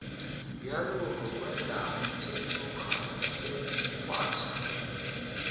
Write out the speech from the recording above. bjalo mogwera thedimogane o kgwatha